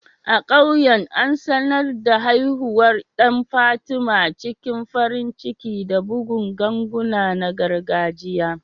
A ƙauyen, an sanar da haihuwar ɗan Fatima cikin farin ciki da bugun ganguna na gargajiya.